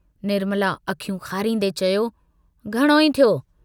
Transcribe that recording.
निर्मला अखियूं खारींदे चयो, घणो ई थियो।